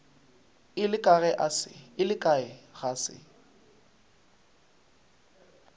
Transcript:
ile kae ge e se